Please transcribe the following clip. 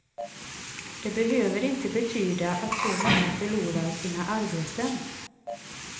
Det behöver inte betyda att så många förlorar sina arbeten.